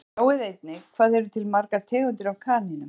Sjá einnig Hvað eru til margar tegundir af kanínum?